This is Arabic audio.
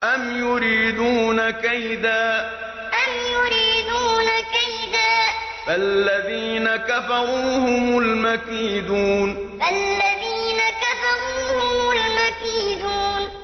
أَمْ يُرِيدُونَ كَيْدًا ۖ فَالَّذِينَ كَفَرُوا هُمُ الْمَكِيدُونَ أَمْ يُرِيدُونَ كَيْدًا ۖ فَالَّذِينَ كَفَرُوا هُمُ الْمَكِيدُونَ